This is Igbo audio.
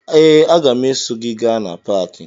Ee, aga m eso gị gaa na paakị